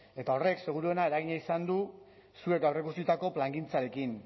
eta horrek seguruena eragina izan du zuek aurreikusitako plangintzarekin